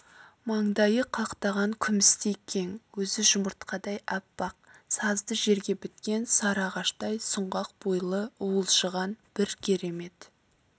маңдайы қақтаған күмістей кең өзі жұмыртқадай аппақ сазды жерге біткен сары ағаштай сұңғақ бойлы уылжыған бір керемет